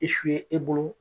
I su ye e bolo